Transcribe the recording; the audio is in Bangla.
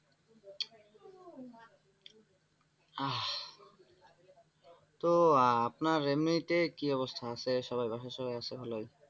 তো আহ আপনার এমনিতেই কি অবস্থায় আছে? সবাই বাসার সবাই আছে ভালো আছেন?